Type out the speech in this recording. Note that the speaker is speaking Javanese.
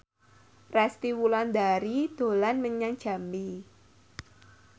Resty Wulandari dolan menyang Jambi